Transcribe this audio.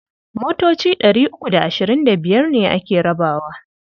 Motoci ɗari uku da ashirin da biyar ne ake rabawa.